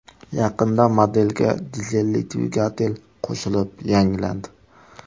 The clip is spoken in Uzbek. Yaqinda modelga dizelli dvigatel qo‘shilib yangilandi.